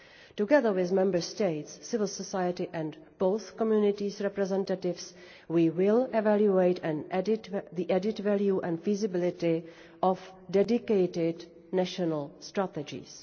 Together with Member States, civil society and both communities' representatives, we will evaluate the added value and the feasibility of dedicated national strategies.